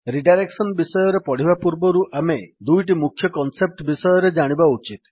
redirection ବିଷୟରେ ପଢିବା ପୂର୍ବରୁ ଆମେ ଦୁଇଟି ମୁଖ୍ୟ କନ୍ସେପ୍ଟ ବିଷୟରେ ଜାଣିବା ଉଚିତ